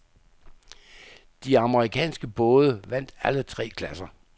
De amerikanske både vandt alle tre klasser.